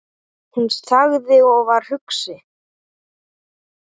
Hún þagði og var hugsi.